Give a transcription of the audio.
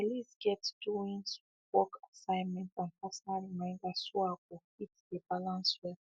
my list get doings work assignment and personal reminders so i go fit de balance well